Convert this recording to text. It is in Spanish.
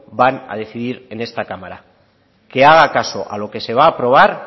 van a decidir en esta cámara que haga caso a lo que se va a aprobar